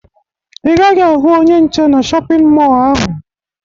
Ị gaghị ahụ onye nche na shọpịn mọọ ahụ